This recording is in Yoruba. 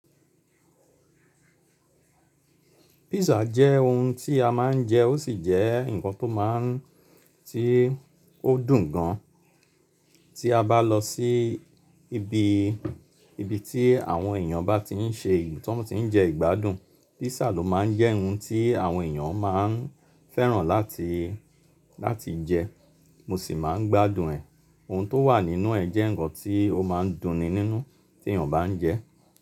Pizza jẹ́ ohun tí a máa ń jẹ, ó sì jẹ́ ǹkan tó máa ń tí ó dùn gan. Tí a bá lọ sí ibi, ibi tí àwọn èèyàn bá ti ń ṣe ì--, tí wọ́n ti ń jẹ ìgbádùn, Pizza ló máa ń jẹ́ ohun tí àwọn èèyàn máa ń fẹ́ràn láti, láti jẹ. Mo sì máa ń gbádùn ẹ̀, ohun tó wà nínú ẹ̀ jẹ́ ǹkan tí ó máa ń dunni nínú tí èèyàn bá ń jẹ.